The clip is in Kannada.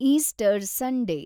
Easter Sunday